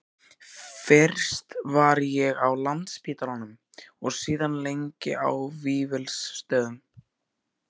Fyrst var ég á Landspítalanum og síðan lengi á Vífilsstöðum.